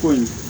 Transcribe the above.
Ko ɲi